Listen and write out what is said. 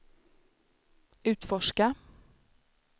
utforska